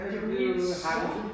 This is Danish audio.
Det jo helt sort.